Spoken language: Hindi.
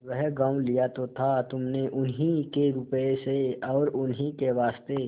वह गॉँव लिया तो था तुमने उन्हीं के रुपये से और उन्हीं के वास्ते